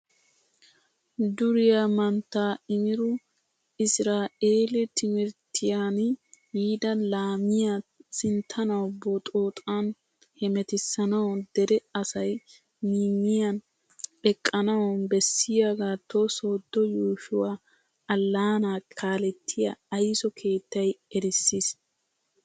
Duriyaa mantta Imiru israeli timirttiyaan yiida laamiyaa sinttanawu boxxoxan hemetisanawu dere asay miyiyan eqqanawu bessiyogato sodo yuushshuwaa allaana kalettiyaa ayso keettay erisiis.